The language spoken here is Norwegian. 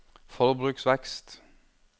forbruksvekst